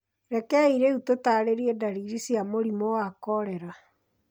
Rekei rĩu tũtaarĩrie ndariri cia mũrimũ wa korera.